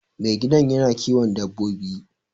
Mai gidan yana kiwon dabbobi